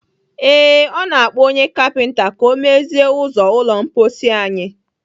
Ee, ọ na-akpọ onye kapinta ka ọ mezie ụzọ ụlọ mposi anyị.